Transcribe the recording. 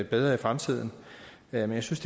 bedre i fremtiden men jeg synes